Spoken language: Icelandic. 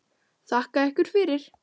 Þakka ykkur fyrir!